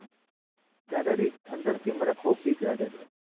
દાદાજી અંદરથી મને ખૂબ બીક લાગે છે.